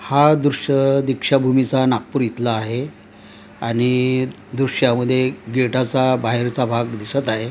हा दृश्य दीक्षाभूमीचा नागपूर इथला आहे आणि दृश्यामध्ये गेटाचा बाहेरचा भाग दिसत आहे.